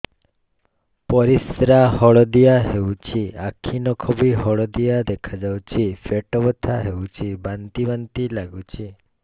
ପରିସ୍ରା ହଳଦିଆ ହେଉଛି ଆଖି ନଖ ବି ହଳଦିଆ ଦେଖାଯାଉଛି ପେଟ ବଥା ହେଉଛି ବାନ୍ତି ବାନ୍ତି ଲାଗୁଛି